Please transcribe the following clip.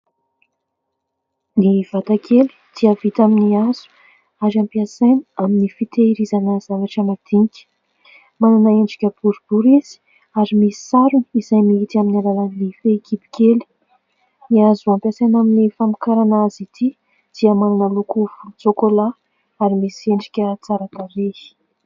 Ny vatakely dia vita amin'ny hazo ary ampiasaina amin'ny fitahirizana zavatra madinika. Manana endrika boribory izy ary misy sarony izay mihidy amin'ny alalan'ny fehikibo kely. Ny hazo ampiasaina amin'ny famokarana azy ity dia manana loko volontsokola ary misy endrika tsara tarehy.